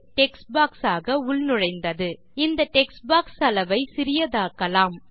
text box ஆக உள்நுழைந்தது இந்த டெக்ஸ்ட் பாக்ஸ் அளவை சிறியதாக்கலாம்